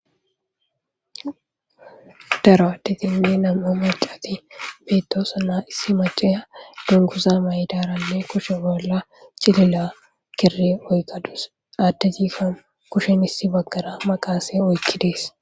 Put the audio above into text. daro aditinne nam'u macati beettosana issi maceya dunguza maydaranne kushe bolla cilila kiri oyqadus addezifanu kushin issi baggara maqaase oykkidees